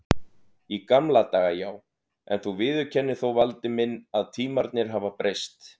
Í gamla daga já, en þú viðurkennir þó Valdi minn að tímarnir hafa breyst.